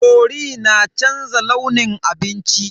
Cori na canza launin abinci.